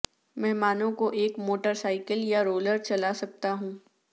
مہمانوں کو ایک موٹر سائیکل یا رولر چلا سکتا ہوں